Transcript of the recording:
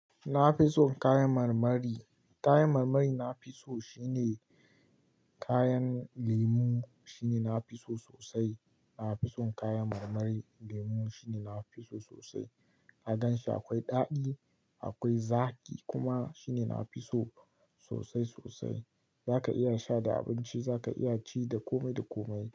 Na fi son kayan marmari. Kayan marmari na fi so shine kayan lemu, shine na fi so sosai. Na fi son kayan marmari lemu shine na fi so sosai. Na gan shi akwai daɗi, akwai zaƙi kuma shine na fi so sosai sosai. Za ka iya sha da abinci, za ka iya ci da kome da komai.